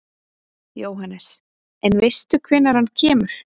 Jóhannes: En veistu hvenær hann kemur?